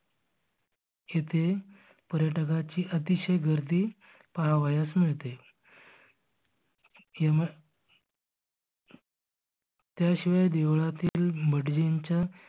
इथे पर्यटकाची अतिशय गर्दी पाहावयास मिळते. त्याशिवाय देवळातील भटजींच्या